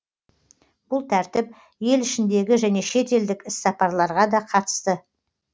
бұл тәртіп ел ішіндегі және шетелдік іссапарларға да қатысты